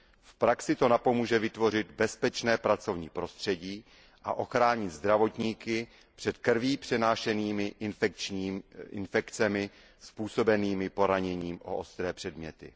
V praxi to napomůže vytvořit bezpečné pracovní prostředí a ochránit zdravotníky před krví přenášenými infekcemi způsobenými poraněním o ostré předměty.